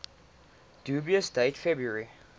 dubious date february